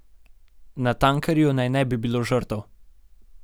Na tankerju naj ne bi bilo žrtev.